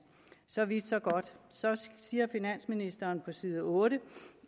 så vidt så godt så siger finansministeren på side otte